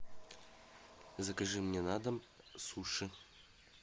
закажи мне на дом суши